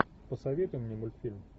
посоветуй мне мультфильм